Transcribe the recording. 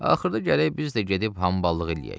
Axırda gərək biz də gedib hamballığı eləyək.